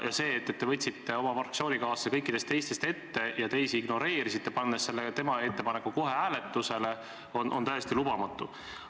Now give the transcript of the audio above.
Ja see, et te lasite oma fraktsioonikaaslase kõikidest teistes ette ja teisi ignoreerisite, pannes tema ettepaneku kohe hääletusele, on täiesti lubamatu.